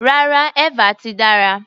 Rárá, eva ti dára.